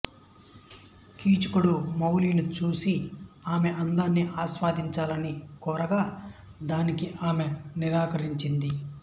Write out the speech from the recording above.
కీచకుడు మాలిని చూసి ఆమె అందాన్ని ఆస్వాదించాలని కోరగా దానికి ఆమె నిరాకరించింది